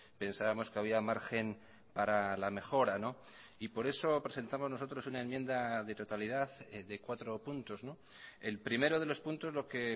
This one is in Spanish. pensábamos que había margen para la mejora y por eso presentamos nosotros una enmienda de totalidad de cuatro puntos el primero de los puntos lo que